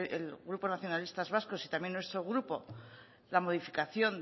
el grupo nacionalistas vascos y también nuestro grupo la modificación